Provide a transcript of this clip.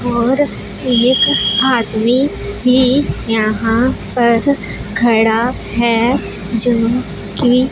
और एक आदमी भी यहां पर खड़ा है जो कि--